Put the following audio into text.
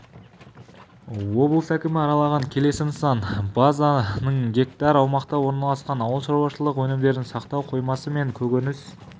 облыс әкімі аралаған келесі нысан база нің гектар аумақта орналасқан ауылшаруашылық өнімдерін сақтау қоймасы мен көкөніс